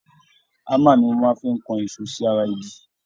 Hámà ni wọ́n fi máa ń kan ìṣó sí ara igi